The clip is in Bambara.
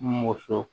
Muso